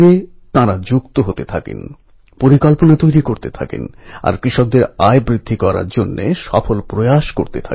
এতে তাঁরা অর্গানাইজেশন ও leadershipএর মতো বিশেষ ক্ষমতা অর্জন করতে পারেন এবং নিজেদের ভেতর সেগুলিকে বিকশিত করতে পারেন